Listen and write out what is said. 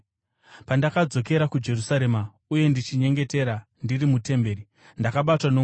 “Pandakadzokera kuJerusarema, uye ndichinyengetera ndiri mutemberi, ndakabatwa nomweya